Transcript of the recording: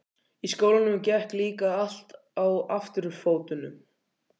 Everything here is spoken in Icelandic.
Í skólanum gekk líka allt á afturfótunum.